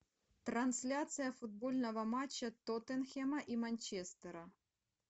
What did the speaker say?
трансляция футбольного матча тоттенхэма и манчестера